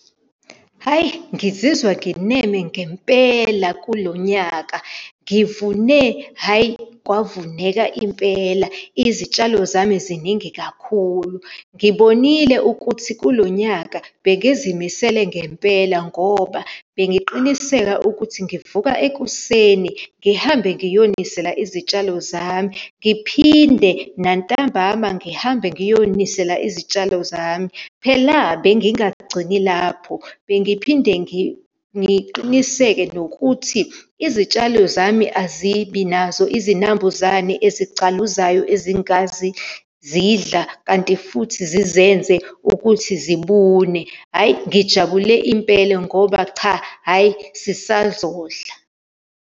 Hhayi, ngizizwa ngineme ngempela kulo nyaka. Ngivune, hhayi, kwavuneka impela. Izitshalo zami ziningi kakhulu. Ngibonile ukuthi kulo nyaka bengizimisele ngempela ngoba bengiqiniseka ukuthi ngivuka ekuseni, ngihambe ngiye unisela izitshalo zami, ngiphinde nantambama ngihambe ngiyonisela izitshalo zami. Phela, bengingagcini lapho, bengiphinde ngiqiniseke nokuthi izitshalo zami azibi nazo izinambuzane ezigcaluzayo, ezingazidla, kanti futhi zizenze ukuthi zibune. Hhayi, ngijabule impela ngoba cha, hhayi, sisazodla.